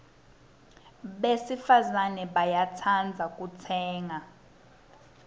besifazana bayatsandza kutsenga